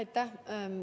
Aitäh!